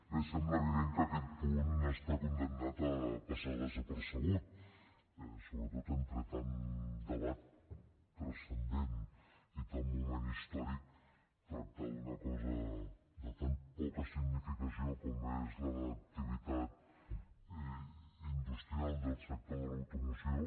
bé sembla evident que aquest punt està condemnat a passar desapercebut sobretot entre tant debat transcendent i tant moment històric tractar d’una cosa de tan poca significació com és l’activitat industrial del sector de l’automoció